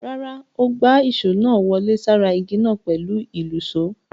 Rárá, ó gbá èṣó náà wọlé sára ìgi náà pẹ̀lú ìlùṣó.